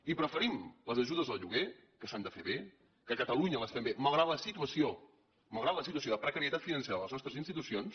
i preferim les ajudes al lloguer que s’han de fer bé que a catalunya les fem bé malgrat la situació de precarietat financera de les nostres institucions